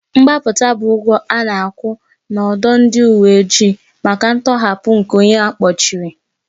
Mgbapụta bụ ụgwọ a na-akwụ n'ọdụ ndị uwe ojii maka ntọhapụ nke onye a kpọchiri.